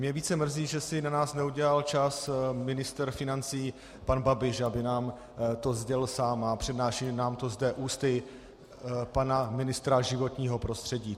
Mě více mrzí, že si na nás neudělal čas ministr financí pan Babiš, aby nám to sdělil sám, a přednáší nám to zde ústy pana ministra životního prostředí.